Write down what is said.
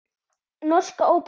Norska óperan.